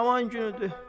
Aman günüdür.